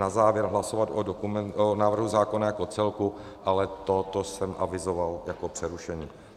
Na závěr hlasovat o návrhu zákona jako celku, ale to jsem avizoval jako přerušení.